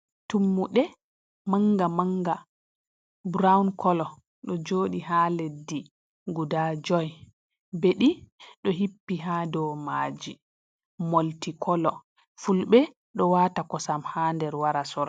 Tummuɗe manga manga burawun koolo ɗo jooɗi ha leddi guda jooi, beɗi ɗo hippi ha domaji. Molti kolo fulɓe ɗo waata kosam ha nder wara sora.